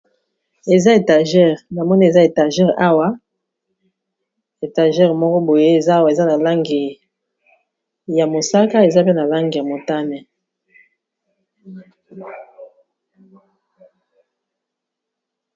Eza étagere na moni eza étagere awa etagere moko boye eza awa eza na langi ya mosaka eza pe na langi ya motane.